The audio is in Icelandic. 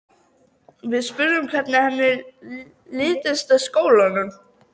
Við spurðum hvernig henni litist á skólann.